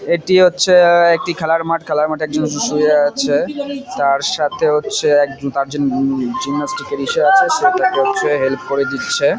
এটি হচ্ছে-এ আ একটি খেলার মাঠ । খেলার মাঠে যীশু শুয়ে আছে। তারসাথে হচ্ছে এক দু চার জন উম জিমন্যাস্টিক -এর ইসে আছে সেটাতে হচ্ছে হেল্প করে দিচ্ছে।